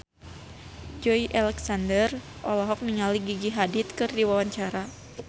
Joey Alexander olohok ningali Gigi Hadid keur diwawancara